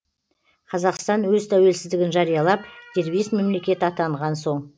қазақстан өз тәуелсіздігін жариялап дербес мемлекет атанған соң